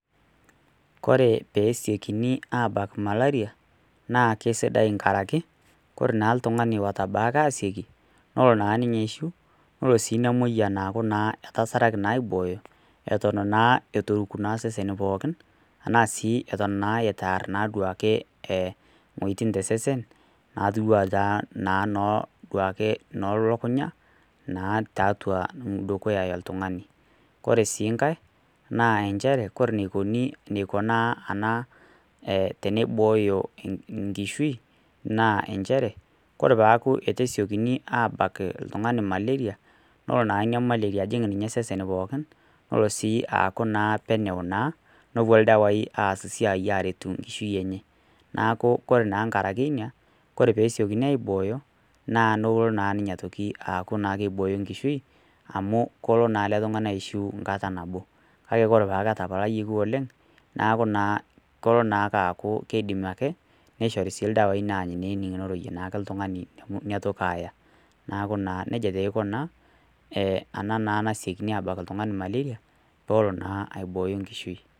Ore pee kesiokini abak malaria naa kisidai tenkaraki ore naa oltung'ani otabaki asioki nelo ninye aishiu nelo naa ena moyian aku etasaraki aiboyo Eton eitu eruk osesen pookin ashu Eton eitu ear wuejitin ena tosesen ena elukunya ore sii enkae ore eniko tenibooyo enkishui ore pee eku eitu kesiokini abak oltung'ani nelo naa ajing osesen pookin nelo sii aku penyo nepuo ildawai aas esiai aretu enkishui enye neeku ore tenkaraki ena ore pee esiokini aiboyo naa kelo naa ninye aiboyo enkishui amu kelo naa ele tung'ani aishieu enkata nabo kake ore peeku etapalayioki oleng naa kelo naaaku kidim ake nishori ildawai nemenig nitoki Aya neeku nejia eikuna enasikini abak oltung'ani malaria pee elo aibooyo enkishui